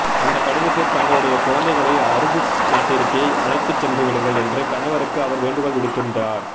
அந்த கடிதத்தில் தங்களுடைய குழந்தைகளை அரபுநாட்டிற்கே அழைத்து சென்றுவிடுங்கள் என்று கணவருக்கு அவர் வேண்டுகோள் விடுத்திருந்தார்